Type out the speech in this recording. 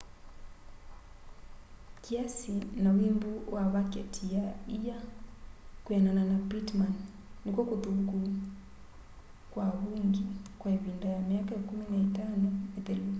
kiasi na wimbu wa vaketi ya ia kwianana na pittman nikw'o kuthuku kwa avungi kwa ivinda ya myaka 15 mithelu